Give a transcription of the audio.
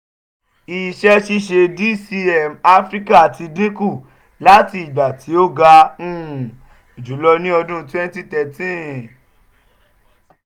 iṣẹ-ṣiṣe dcm afirika ti dinku lati igba ti o ga um julọ ni ọdun twenty thirteen